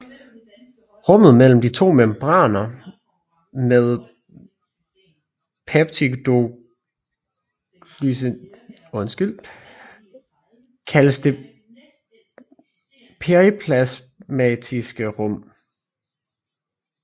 Rummet mellem de to membraner med peptidoglycanlaget kaldes det periplasmatiske rum